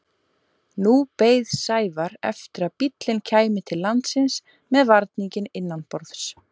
Nú beið Sævar eftir að bíllinn kæmi til landsins með varninginn innanborðs.